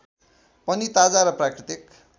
पनि ताजा र प्राकृतिक